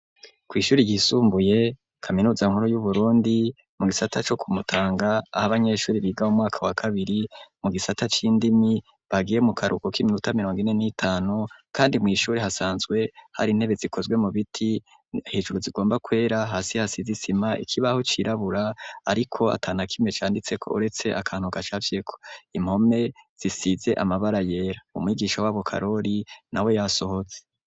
Kw'ishuri ryisumbuye, kaminuza nkuru yu Burundi, mu gisata co ku Mutanga, aho abanyeshuri biga umwaka wa kabiri, mu gisata c'indimi, bagiye mu karuhuko k'iminota mirongo ine n'itanu, kandi mw'ishuri hasanzwe hari intebe zikozwe mu biti, hejuru zigomba kwera, hasi hasize zisima, ikibaho cirabura, ariko atanakimwe canditseko uretse akantu gacafyeko, impome zisize amabara yera, umwigisha wabo Karoli nawe yasohotse.